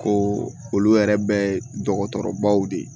Ko olu yɛrɛ bɛɛ ye dɔgɔtɔrɔbaw de ye